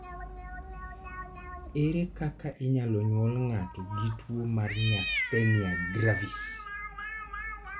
Ere kaka inyalo nyuol ngato gi tuwo mar myasthenia gravis?